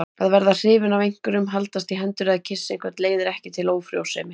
Að verða hrifinn af einhverjum, haldast í hendur eða kyssa einhvern leiðir ekki til ófrjósemi.